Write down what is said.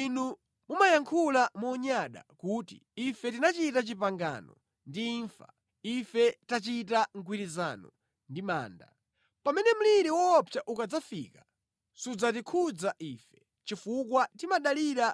Inu mumayankhula monyada kuti, “Ife tinachita pangano ndi imfa, ife tachita mgwirizano ndi manda. Pamene mliri woopsa ukadzafika sudzatikhudza ife, chifukwa timadalira